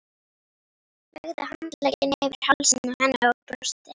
Lagði handlegginn yfir hálsinn á henni og brosti.